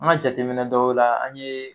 An ka jateminɛ dɔw la an ye